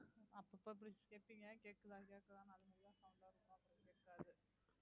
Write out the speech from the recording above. அப்பப்ப புடிச்சி கேப்பீங்க கேக்குதா கேக்குதா